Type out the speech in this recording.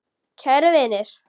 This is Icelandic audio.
Kæru vinir!